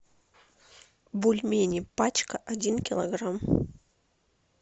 бульмени пачка один килограмм